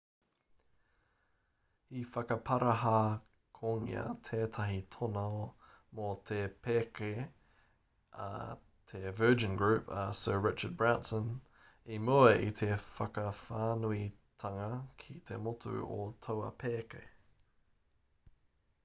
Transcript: i whakaparahakongia tētahi tono mō te pēke a te virgin group a sir richard branson i mua i te whakawhānuitanga ki te motu o taua pēke